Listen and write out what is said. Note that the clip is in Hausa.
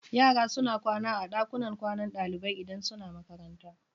Yara suna kwana a ɗakunan kwanan ɗalibai idan suna makaranta.